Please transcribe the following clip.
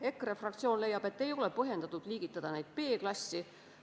EKRE fraktsioon leiab, et ei ole põhjendatud liigitada need B-klassi.